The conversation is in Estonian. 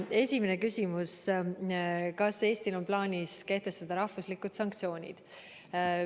Esimene küsimus: kas Eestil on plaanis kehtestada riiklikud sanktsioonid?